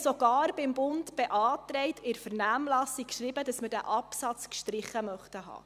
Wir haben dem Bund sogar beantragt und in der Vernehmlassung geschrieben, dass wir diesen Absatz gestrichen haben möchten.